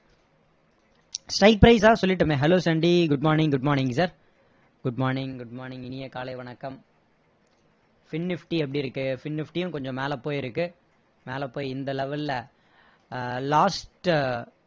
price ஆ சொல்லிட்டோமே hello சண்டி good morning good morning sir good morning good morning இனிய காலை வணக்கம் fin nifty எப்படி இருக்கு fin nifty யும் கொஞ்சம் மேல போயிருக்கு மேல போய் இந்த level ல அஹ் last உ